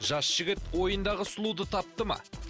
жас жігіт ойындағы сұлуды тапты ма